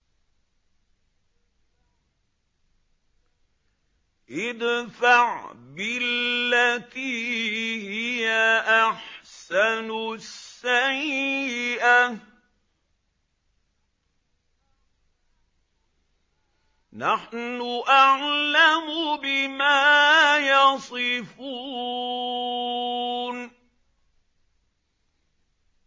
ادْفَعْ بِالَّتِي هِيَ أَحْسَنُ السَّيِّئَةَ ۚ نَحْنُ أَعْلَمُ بِمَا يَصِفُونَ